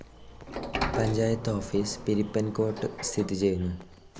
Panchayat office Pirappancode സ്ഥിതി ചെയ്യുന്നു.